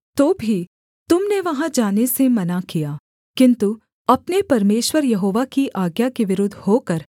तो भी तुम ने वहाँ जाने से मना किया किन्तु अपने परमेश्वर यहोवा की आज्ञा के विरुद्ध होकर